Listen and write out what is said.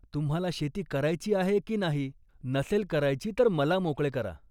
तुम्हाला शेती करायची आहे की नाही. नसेल करायची तर मला मोकळे करा